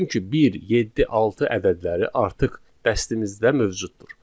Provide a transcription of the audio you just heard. Çünki 1, 7, 6 ədədləri artıq dəstimizdə mövcuddur.